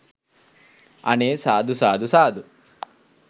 අනේ සාදු සාදු සාදු